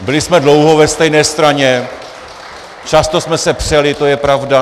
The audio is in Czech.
Byli jsme dlouho ve stejné straně, často jsme se přeli, to je pravda.